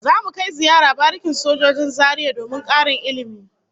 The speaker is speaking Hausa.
Zamu kai ziyara barikin sojojin Zaria domin karin ilmi